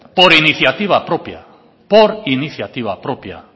por iniciativa propia por iniciativa propia